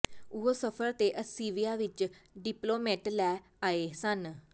ਉਹ ਸਫ਼ਰ ਦੇ ਅੱਸੀਵਿਆ ਵਿਚ ਡਿਪਲੋਮੇਟ ਲੈ ਆਏ ਸਨ